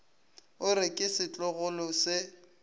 o re ke setlogolo se